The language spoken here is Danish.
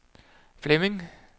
Flemming